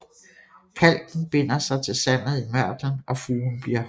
Kalken binder sig til sandet i mørtlen og fugen bliver hård